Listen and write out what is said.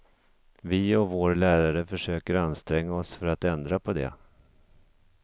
Vi och vår lärare försöker anstränga oss för att ändra på det.